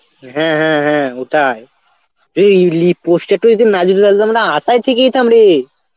হ্যাঁ হ্যাঁ হ্যাঁ ওটাই এই ইংলি poster টা যদি না না আশায় থেকে যেতাম রে